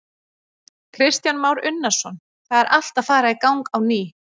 Kristján Már Unnarsson: Það er allt að fara í gang á ný?